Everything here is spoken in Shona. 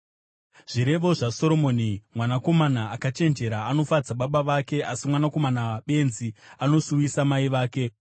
Zvirevo zvaSoromoni: Mwanakomana akachenjera anofadza baba vake, asi mwanakomana benzi anosuwisa mai vake.